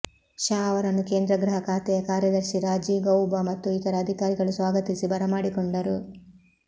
ಶಾ ಅವರನ್ನು ಕೇಂದ್ರ ಗೃಹ ಖಾತೆಯ ಕಾರ್ಯದರ್ಶಿ ರಾಜೀವ್ ಗೌಬಾ ಮತ್ತು ಇತರ ಅಧಿಕಾರಿಗಳು ಸ್ವಾಗತಿಸಿ ಬರಮಾಡಿಕೊಂಡರು